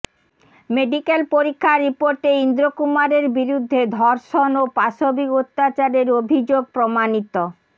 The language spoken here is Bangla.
মেডিক্যাল পরীক্ষার রিপোর্টে ইন্দ্রকুমারের বিরুদ্ধে ধর্ষণ ও পাশবিক অত্যাচারের অভিযোগ প্রমাণিত